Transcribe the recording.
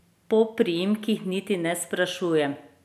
Po priimkih niti ne sprašujem.